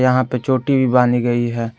यहां पे चोटी भी बांधी गई है।